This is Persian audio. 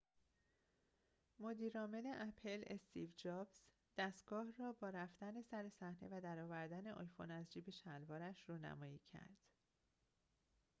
مدیر عامل اپل استیو جابز دستگاه را با رفتن سر صحنه و در آوردن آیفون از جیب شلوارش رونمایی کرد